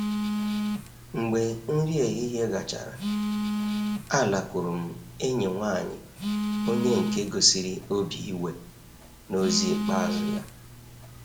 Mgbe nri ehihie gachara, alakwuru m enyi nwaanyị onye nke gosiri obi iwe n'ozi ikpeazụ ya.